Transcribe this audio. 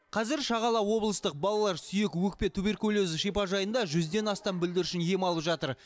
қазір шағала облыстық балалар сүйек өкпе туберкулезі шипажайында жүзден астам бүлдіршін ем алып жатыр